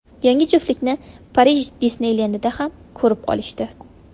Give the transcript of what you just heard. Yangi juftlikni Parij Disneylendida ham ko‘rib qolishdi.